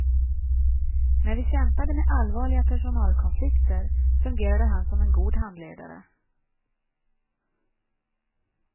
När vi kämpade med allvarliga personalkonflikter fungerade han som en god handledare.